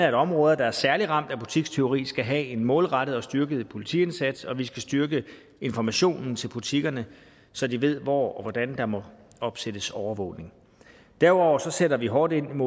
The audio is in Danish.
at områder der er særlig ramt af butikstyveri skal have en målrettet og styrket politiindsats og at vi skal styrke informationen til butikkerne så de ved hvor og hvordan der må opsættes overvågning derudover sætter vi hårdt ind